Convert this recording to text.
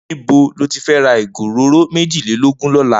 Nibó ló ti fè rà igó óróró méjilélógùn lòlá?